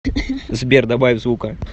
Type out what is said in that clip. сбер добавь звука